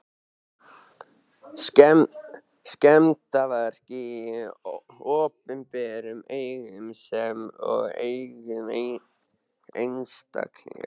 Skemmdarverk á opinberum eignum sem og eignum einstaklinga.